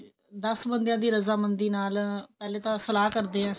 ਦਸ ਬੰਦਿਆ ਦੀ ਰਜ਼ਾ ਮੰਦੀ ਨਾਲ ਪਹਿਲੇ ਤਾਂ ਸਲਾਹ ਕਰਦੇ ਐ